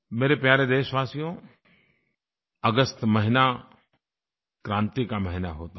मेरे प्यारे देशवासियों अगस्त महीना क्रांति का महीना होता है